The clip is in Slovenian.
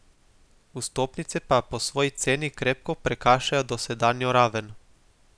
Vstopnice pa po svoji ceni krepko prekašajo dosedanjo raven.